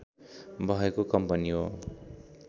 भएको कम्पनी हो